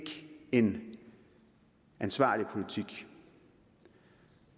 en ansvarlig politik